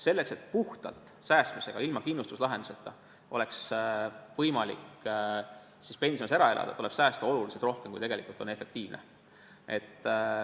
Selleks, et puhtalt säästmisega, ilma kindlustuslahendusteta, oleks võimalik pensionist ära elada, tuleb säästa oluliselt rohkem, kui tegelikult on efektiivne.